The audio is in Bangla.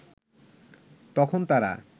তখন তারা